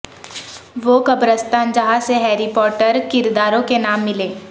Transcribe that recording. وہ قبرستان جہاں سے ہیری پوٹر کرداروں کے نام ملے